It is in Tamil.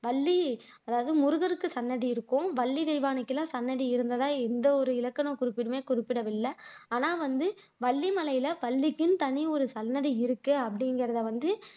வள்ளி அதாவது முருகருக்கு சன்னதி இருக்கும் வள்ளி தெயவானைக்கெல்லாம் சன்னதி இருந்ததா எந்த ஒரு இலக்கனக் குறிப்பிலேயுமே குறிப்பிடவில்லை ஆனா வந்து வள்ளி மலையில வள்ளிக்குன்னு தனி ஒரு சன்னதி இருக்கு அப்படிங்கிறத வந்து